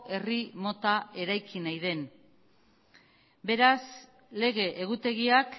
herri mota eraiki nahi den beraz lege egutegiak